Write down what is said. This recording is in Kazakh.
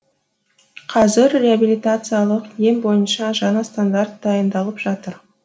қазір реабелитациялық ем бойынша жаңа стандарт дайындалып жатыр